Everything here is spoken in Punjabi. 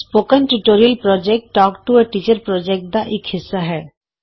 spoken tutorial project talk to a teacher project ਦਾ ਇਕ ਹਿੱਸਾ ਹੈ